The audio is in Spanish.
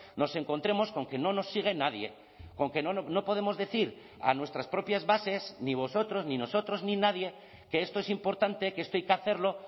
nos encontremos con que no nos sigue nadie con que no podemos decir a nuestras propias bases ni vosotros ni nosotros ni nadie que esto es importante que esto hay que hacerlo